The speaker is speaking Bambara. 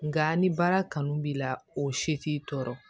Nka ni baara kanu b'i la o si t'i tɔɔrɔ